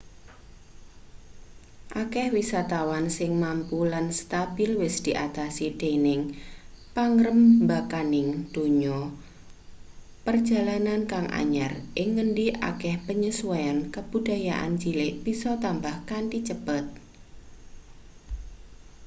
akeh wisatawan sing mampu lan stabil wis diatasi dening pangrembakaning donya perjalanan kang anyar ing ngendi akeh penyesuaian kabudayan cilik bisa tambah kanthi cepet